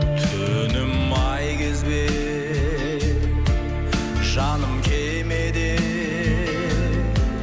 түнім ай кезбе жаным кемеде